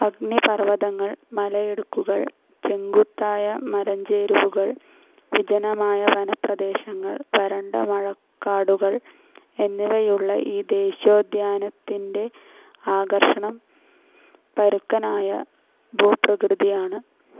അഗ്നിപർവതങ്ങൾ, മലയിടുക്കുകൾ, ചെങ്കുത്തായ മലഞ്ചെരുവുകൾ, വിജനമായ വനപ്രദേശങ്ങൾ, വരണ്ട മഴകാടുകൾ എന്നിവയുള്ള ഈ ദേശീയോദ്യാനത്തിൻ്റെ ആകർഷണം പരുക്കനായ ഭൂപ്രകൃതിയാണ്.